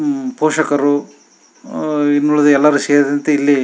ಪೋಷಕರು ಇನ್ನುಳಿದ ಎಲ್ಲರೂ ಸೇರಿಸಿ ಇಲ್ಲಿ--